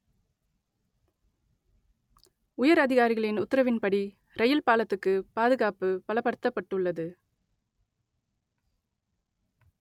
உயர் அதிகாரிகளின் உத்தரவின்படி ரயில் பாலத்துக்கு பாதுகாப்பு பலப்படுத்தப்பட்டுள்ளது